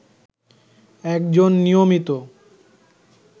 একজন নিয়মিত